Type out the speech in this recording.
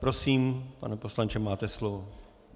Prosím, pane poslanče, máte slovo.